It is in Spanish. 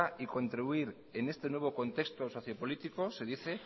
y contribuir en este nuevo contexto socio político se dice